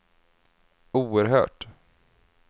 oerhört